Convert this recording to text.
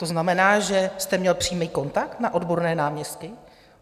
To znamená, že jste měl přímý kontakt na odborné náměstky?